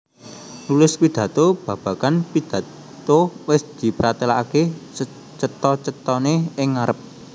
Nulis PidhatoBabagan pidatho wis dipratelakaké secetha cethané ing ngarep